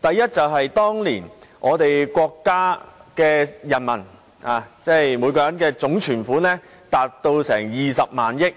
第一個原因是當年國家人民的總存款達20萬億元，